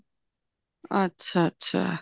ਅੱਛਾ ਅੱਛਾ